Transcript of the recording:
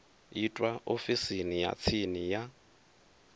itwa ofisini ya tsini ya